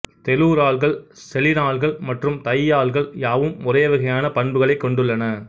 தெலூரால்கள் செலினால்கள் மற்றும் தையால்கள் யாவும் ஒரேவகையான பண்புகளைக் கொண்டுள்ளன